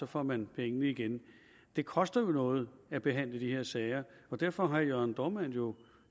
får man pengene igen det koster jo noget at behandle de her sager derfor har herre jørn dohrmann jo